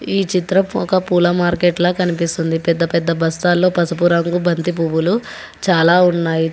ఈ చిత్రం ఒక పూల మార్కెట్లా కనిపిస్తుంది పెద్ద పెద్ద బస్టా లో పసుపు రంగు బంతి పువ్వులు చాలా ఉన్నాయి.